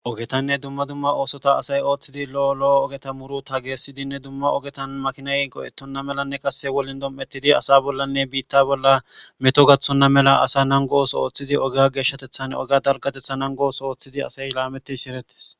Ogetanne dumma dumma oosota asay ooththidi lo'olo ogeta muru ta geessidinne dumma ogetan makinay go'ettonna melanne qasse wolin dom''ettidi asa bollanne biitta bolla meto gaththonna mela asa nangos ooththidi oga geeshshatethan oga dalgatetha nangos ooththidi asay laameti shirettes.